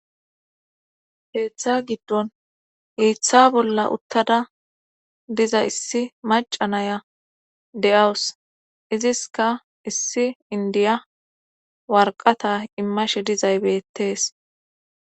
Keththa giddon hiththa bolla uttada diza issi macanaya de7awus iziska issi indiya warqata immashe dizay bettees